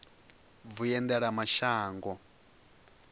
vhuendelamashango